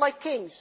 like kings.